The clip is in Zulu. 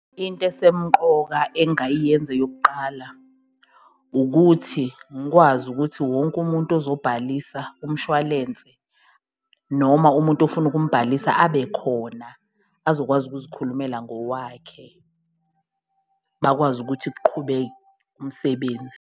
Into esemqoka engayiyenza eyokuqala ukuthi ngikwazi ukuthi wonke umuntu ozobhalisa umshwalense, noma umuntu ofuna ukumbhalisa abe khona azokwazi ukuzikhulumela ngowakhe bakwazi ukuthi umsebenzi.